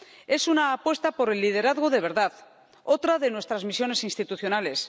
Es una apuesta por el liderazgo de verdad otra de nuestras misiones institucionales.